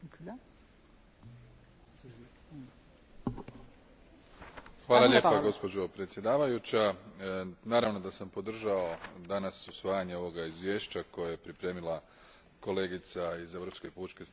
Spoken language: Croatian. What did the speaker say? Gospođo predsjedavajuća, naravno da sam podržao danas usvajanje ovog izvješća koje je pripremila kolegica iz Europske pučke stranke, Monica Macovei, i o zamrzavanju i oduzimanju imovinske koristi ostvarene kaznenim djelima.